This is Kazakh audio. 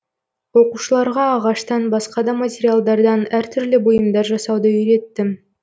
оқушыларға ағаштан басқа да материалдардан әр түрлі бұйымдар жасауды үйреттім